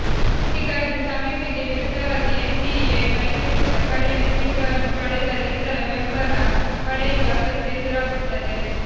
ಹೀಗಾಗಿ ಸಮೀಕ್ಷೆಗೆ ವಿರುದ್ಧವಾಗಿ ಎನ್ ಡಿಎ ಮೈತ್ರಿಕೂಟ ಕಡಿಮೆ ಸೀಟುಗಳನ್ನು ಪಡೆದರೂ ಇತರ ವೆಂಬಲ ಪಡೆಯುವ ಅಗತ್ಯ ಎದುರಾಗುತ್ತದೆ